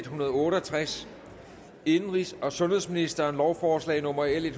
hundrede og otte og tres indenrigs og sundhedsministeren lovforslag nummer l en